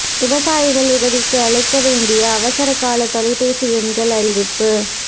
விவசாயிகள் உதவிக்கு அழைக்க வேண்டிய அவசர கால தொலைபேசி எண்கள் அறிவிப்பு